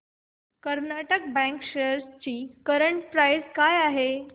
Karnataka bank shares ची current price काय आहे